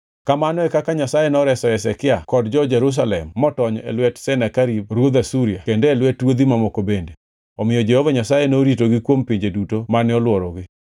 Kamano e kaka Jehova Nyasaye noreso Hezekia kod jo-Jerusalem motony e lwet Senakerib ruodh Asuria kendo e lwet ruodhi mamoko bende. Omiyo Jehova Nyasaye noritogi kuom pinje duto mane olworogi.